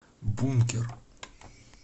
бункер